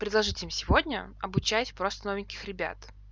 предложить им сегодня обучать просто новеньких ребят